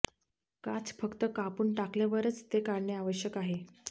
काच फक्त कापून टाकल्यावरच ते काढणे आवश्यक आहे